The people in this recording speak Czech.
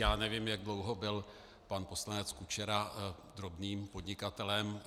Já nevím, jak dlouho byl pan poslanec Kučera drobným podnikatelem.